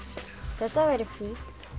þetta væri fínt